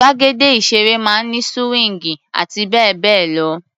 Gbàgede ìṣeré máa ń ní síwíńgì àti bẹ́ẹ̀ bẹ́ẹ̀ lọ.